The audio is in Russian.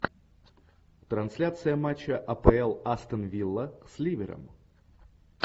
трансляция матча апл астон вилла с ливером